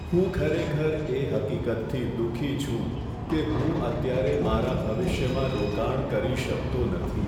હું ખરેખર એ હકીકતથી દુઃખી છું કે હું અત્યારે મારા ભવિષ્યમાં રોકાણ કરી શકતો નથી.